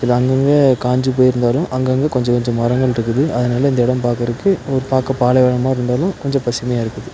இது அங்கங்க காஞ்சு போய்ருந்தாலும் அங்கங்க கொஞ்ச கொஞ்ச மரங்கள்ருக்குது அதனால இந்த எடம் பாக்கறக்கு ஒ பாக்க பாலைவனமா இருந்தாலும் கொஞ்ச பசுமையா இருக்குது.